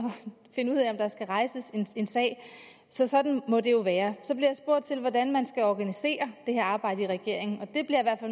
finde ud af om der skal rejses en sag så sådan må det jo være så bliver jeg spurgt til hvordan man skal organisere det her arbejde i regeringen og der bliver